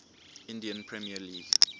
indian premier league